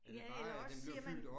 Ja, eller også siger man